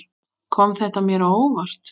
Kom þetta mér á óvart?